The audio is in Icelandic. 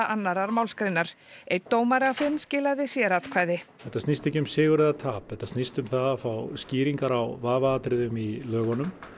annarrar málsgreinar einn dómari af fimm skilaði sératkvæði þetta snýst ekki um sigur eða tap þetta snýst um að fá skýringar á vafaatriðum í lögunum